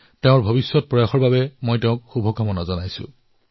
মই আগন্তুক ভৱিষ্যতৰ বাবে তেওঁলৈ শুভকামনা জনাইছো